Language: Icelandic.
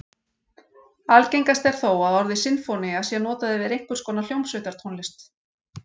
Algengast er þó að orðið sinfónía sé notað yfir einhvers konar hljómsveitartónlist.